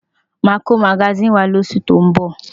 Màá kó magasíìnì wá lóṣù tó ń bọ̀.